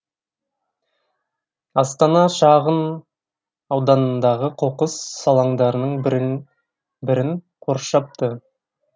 астана шағын ауданындағы қоқыс алаңдарының бірін қоршапты